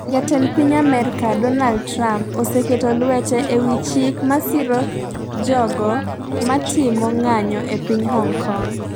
Jatend piny Amerka, Donald Trump, oseketo lwete ewi chik ma siro jogo matimo ng'anjo e piny Hong Kong.